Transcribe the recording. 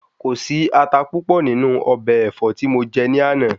Kò sí ata púpọ̀ nínú ọbẹ̀ ẹ̀fọ́ tí mo jẹ ní àná.